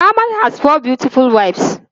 Ahmed has four beautiful wives.